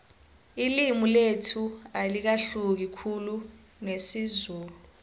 ililmi lethu alahluki khulu nesizulu